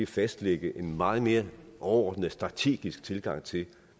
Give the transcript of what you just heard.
fastlægge en meget mere overordnet strategisk tilgang til